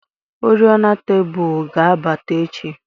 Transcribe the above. oriọna tebụl ga-abata echi.